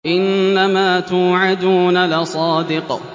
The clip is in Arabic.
إِنَّمَا تُوعَدُونَ لَصَادِقٌ